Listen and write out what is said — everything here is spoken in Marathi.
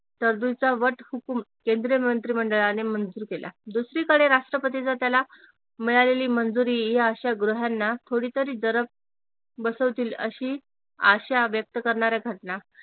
तत्व वटहुकूम केंद्रीय मंत्रिमंडळाने मंजूर केला दुसरीकडे राष्ट्रपतीच्या त्याला मिळालेली मंजुरी या अशा गृहांना थोडीतरी जरब बसवतील अशी आशा व्यक्त करणाऱ्या घटना